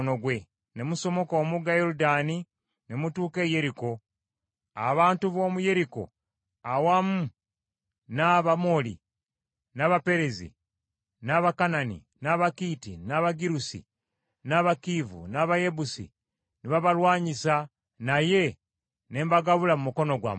“ ‘Ne musomoka omugga Yoludaani ne mutuuka e Yeriko. Abantu b’omu Yeriko awamu n’Abamoli, n’Abaperezi, n’Abakanani, n’Abakiiti, n’Abagirusi, n’Abakiivi, n’Abayebusi ne babalwanyisa naye ne mbagabula mu mukono gwammwe.